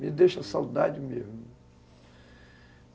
Me deixa saudade mesmo.